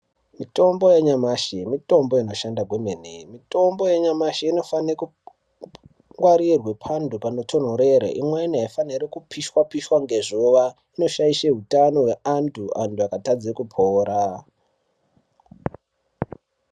Mitombo yanyamashi mitombo inoshanda kwemene mitombo yanyamashi inofane kungwarirwe pantu panotonhorere imweni aifanhiri kupishwa pishwa ngezuwa inoshaishe utano weantu antu akatadze kupora.